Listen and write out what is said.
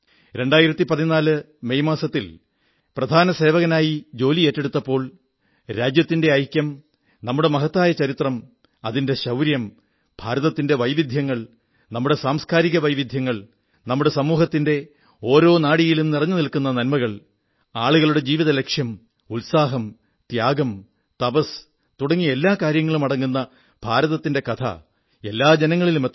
2014 May മാസത്തിൽ പ്രധാന സേവകനായി ജോലി ഏറ്റെടുത്തപ്പോൾ രാജ്യത്തിന്റെ ഐക്യം നമ്മുടെ മഹത്തായ ചരിത്രം അതിന്റെ ശൌര്യം ഭാരതത്തിന്റെ വൈവിധ്യങ്ങൾ നമ്മുടെ സാംസ്കാരിക വൈവിധ്യങ്ങൾ നമ്മുടെ സമൂഹത്തിന്റെ ഓരോ നാഡിഞരമ്പിലും നിറഞ്ഞുനിൽക്കുന്ന നന്മകൾ ആളുകളുടെ ജീവിതലക്ഷ്യം ഉത്സാഹം ത്യാഗം തപസ്സ് തുടങ്ങി എല്ലാ കാര്യങ്ങളുമടങ്ങുന്ന ഭാരതത്തിന്റെ കഥ എല്ലാ ജനങ്ങളിലും എത്തണം